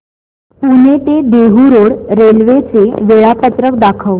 पुणे ते Dehu road railway चे वेळापत्रक दाखव